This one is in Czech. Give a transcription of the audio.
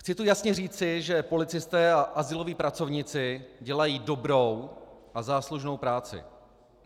Chci tu jasně říci, že policisté a azyloví pracovníci dělají dobrou a záslužnou práci.